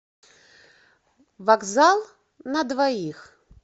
вокзал на двоих